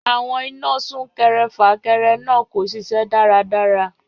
Àwọn iná súnkẹrẹ-fàkẹrẹ náà kò ṣiṣẹ́ dáradára.